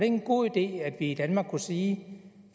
en god idé at vi i danmark kunne sige